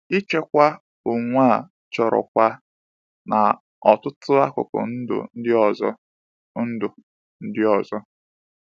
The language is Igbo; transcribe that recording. Ịchịkwa onwe a chọrọ kwa n’ọtụtụ akụkụ ndụ ndị ọzọ. ndụ ndị ọzọ.